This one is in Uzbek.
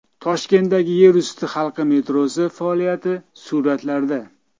Toshkentdagi yerusti halqa metrosi faoliyati suratlarda.